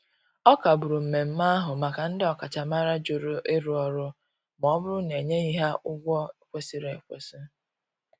Ọ kagburu mmeme ahu maka ndi okachamara jụrụ ịrụ ọrụ ma ọbụrụ na enyeghi ha ụgwọ ekwesiri ekwesi.